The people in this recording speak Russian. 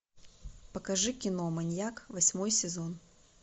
покажи кино маньяк восьмой сезон